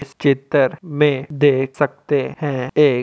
इस चित्रर में देख सकते हैं। एक --